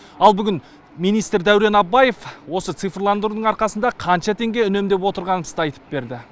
ал бүгін министр дәурен абаев осы цифрландырудың арқасында қанша теңге үнемдеп отырғанымызды айтып берді